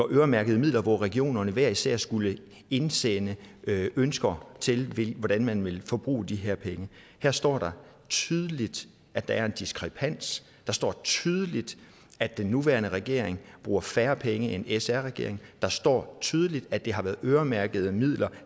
øremærkede midler hvor regionerne hver især skulle indsende ønsker til hvordan man ville forbruge de her penge her står der tydeligt at der er en diskrepans der står tydeligt at den nuværende regering bruger færre penge end sr regeringen der står tydeligt at det har været øremærkede midler